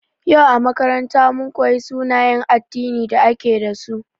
Yau a makaranta, mun koyi sunayen addinin da ake dasu.